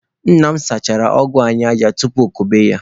Nna m kụchasịrị ọgụ anyị aja tupu okobe ya.